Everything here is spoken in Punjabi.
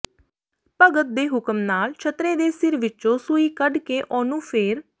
ਭਗਤ ਦੇ ਹੁਕਮ ਨਾਲ ਛਤਰੇ ਦੇ ਸਿਰ ਵਿੱਚੋਂ ਸੂਈ ਕੱਢ ਕੇ ਉਹਨੂੰ ਫੇਰ